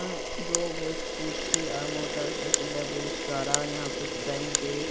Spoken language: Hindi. यहाँ दो गो स्कूटी और मोटरसाइकिल है बहुत सारा और यहाँ कुछ बैंक है।